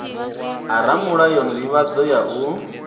a ramulayo sdivhadzo ya u